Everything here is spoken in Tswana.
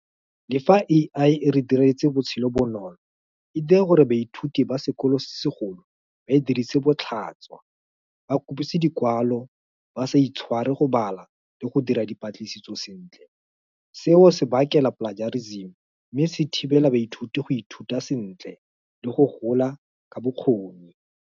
Le fa A_I e re diretse botshelo bonolo, e dire gore baithuti ba sekolo se segolo ba e dirise botlhaswa. Ba dikwalo ba sa itshware go bala le go dira dipatlisiso sentle. Seo se bakela plagiarism, mme se thibela baithuti go ithuta sentle le go gola ka bokgoni.